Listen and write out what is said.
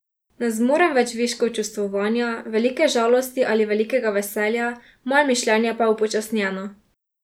Ne zmorem več viškov čustvovanja, velike žalosti ali velikega veselja, moje mišljenje pa je upočasnjeno.